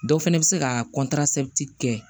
Dɔ fana bɛ se ka kɛ